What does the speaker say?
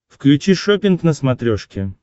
включи шоппинг на смотрешке